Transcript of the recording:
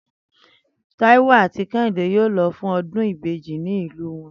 Táíwò àti Ké̩hìndé yóò lo̩ fún o̩dún ìbejì ní ìlú wo̩n